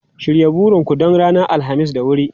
Shirya burin ku don ranar Alhamis da wuri!